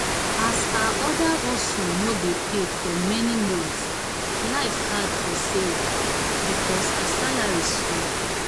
as her other hustle no dey pay for many months life hard for sarah because her salary small.